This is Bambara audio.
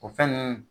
O fɛn nunnu